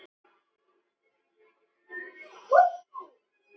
Og víðar kreppti að.